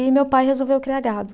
E meu pai resolveu criar gado.